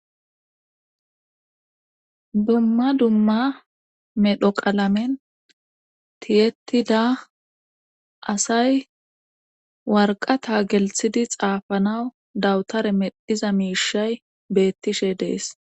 dumma dumma medhoqalamen tiyetida asay warqata gelthidi xaafanawu dawutare medhiza miishay beettishe dees